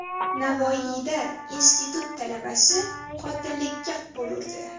Navoiyda institut talabasi qotillikka qo‘l urdi.